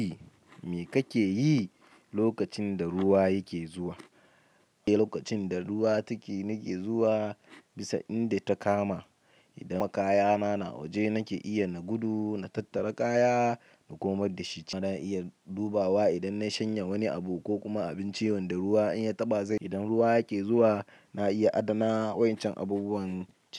Me kake yi lokacin da ruwa yake zuwa? Eh, lokacin da ruwa take nake zuwa bisa inda ta kama. Idan makaya na na waje nake iya na gudu, na tattara kaya na komar da shi can. Na iya dubawa idan na shanya wani abu ko kuma abin ci wanda ruwa in ya taɓa zai. Idan ruwa yake zuwa na iya adana wa'yancan abubuwan.